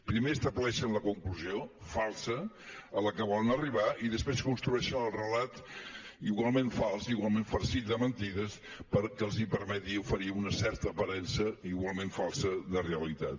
primer estableixen la conclusió falsa a la que volen arribar i després construeixen el relat igualment fals igualment farcit de mentides perquè els permeti oferir una certa aparença igualment falsa de realitat